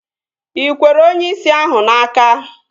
Ị kwere onyeisi ahụ n'aka?